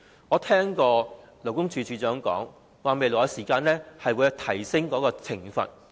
我聽到勞工處處長提及，將會提高罰則。